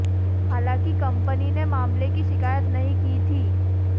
हालांकि कंपनी ने मामले की शिकायत नहीं की थी